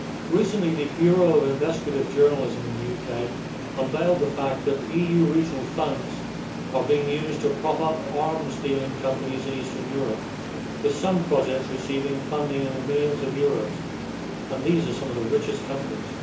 Recently, the Bureau of Investigative Journalism in the UK unveiled the fact that EU regional funds are being used to prop up arms dealing companies in Eastern Europe, with some projects receiving funding amounting to millions of euro, although these are some of the richest companies.